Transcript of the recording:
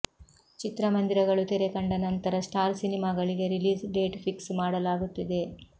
ಚಿತ್ರಮಂದಿರಗಳು ತೆರೆ ಕಂಡ ನಂತರ ಸ್ಟಾರ್ ಸಿನಿಮಾಗಳಿಗೆ ರಿಲೀಸ್ ಡೇಟ್ ಫಿಕ್ಸ್ ಮಾಡಲಾಗುತ್ತಿದೆ